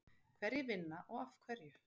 Hverjir vinna og af hverju?